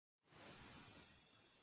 Breytast í ský.